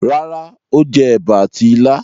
Rárá, Ó jẹ ẹ̀bà àti ilá.